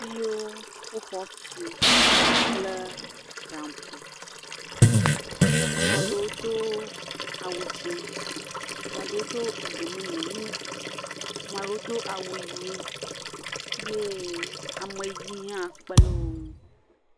Ameaɖewo wo xɔtu kple panpo, m'aɖewo do awu dzĩ, m'aɖewo do egbemumu wu, 'maɖewo do awu ɣi eye ameɣi hã kpele woŋu.